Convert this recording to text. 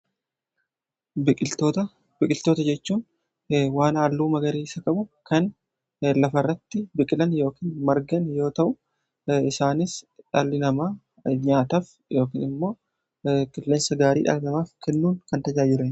Biqiltoota jechuun waan haalluu magariisa qabu kan lafarratti biqilan yookiin margan yoo ta'u isaanis dhaalli namaa nyaataaf yookiin immoo qilleensa gaarii dhala namaaf kennuun kan tajaajilanidha.